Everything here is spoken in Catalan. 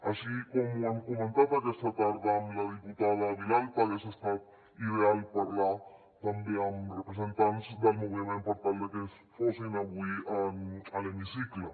així com ho hem comentat aquesta tarda amb la diputada vilalta hagués estat ideal parlar també amb representants del moviment per tal de que fossin avui a l’hemicicle